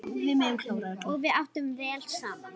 Og við áttum vel saman.